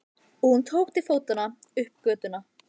Og hún tók til fótanna upp götuna.